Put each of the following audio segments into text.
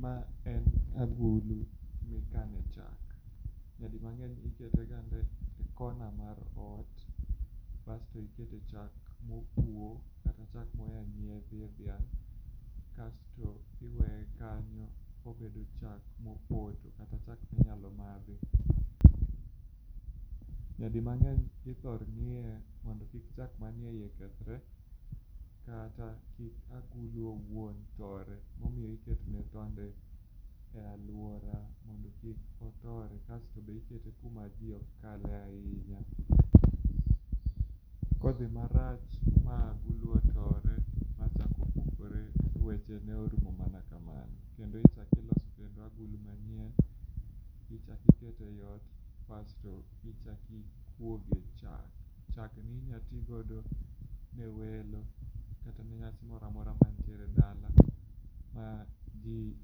Ma en agulu mikane chak. Nyadi mang'eny ikete gande e kona kar ot kasto ikete chak mopuo kata chak moya nyiedhi e dhiang' kasto iweye kanyo kobedo chak mopot kata chak minyalo madhi. Nyadi mangeny ithor ng'iye mondo kik chak manie iye kethre kata kik agulu owuon tore momiyo ikete gande e aluora mondo kik otore, kasto be ikete kuma jii ok kale ahinya. Kodhi marach ma agulu otore machak opuokre weche ne orumo mana kamano kendo ichak iloso kendo agulu manyien, ichak ikete ot kasto ichak ikuoge chak. Chak minya tigodo ne welo kata ne ngat moro amora mantiere dala madwaro mji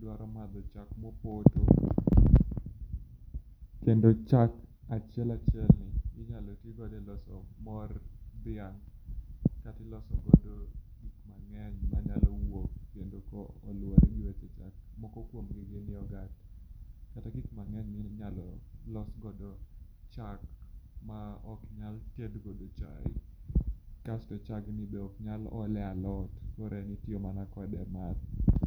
dwaro madho chak mopoto kendo chak achiel achiel ni inyalo tigodo e loso mor dhiang kata iloso godo gik mangeny manyalo wuok kendo koluore gi weche chak. Moko kuom gi gin yoghurt kata gik mangeny minyalo loso godo chak maok loso godo chai, kasto chagni be ok nyal ole e alot koro en itiyo mana kode math